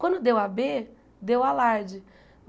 Quando deu a Bê, deu alarde.